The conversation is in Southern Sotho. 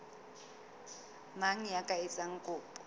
mang ya ka etsang kopo